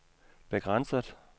begrænset